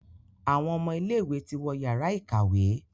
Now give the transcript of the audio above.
Àwon ọmọ ilé ìwé ti wọ Yàrá ìkàwé.